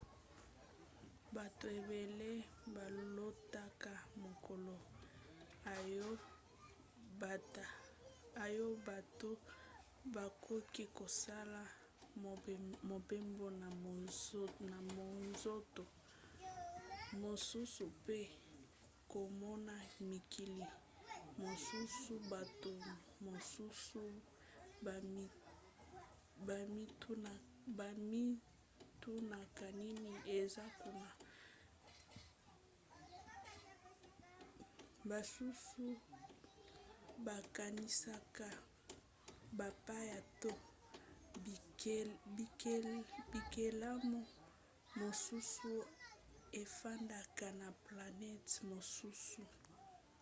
bato ebele balotaka mokolo oyo bato bakoki kosala mobembo na monzoto mosusu pe komona mikili mosusu bato mosusu bamitunaka nini eza kuna basusu bakanisaka bapaya to bikelamu mosusu efandaka na planete mosusu